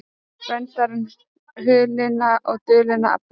Verndari hulinna og dulinna afla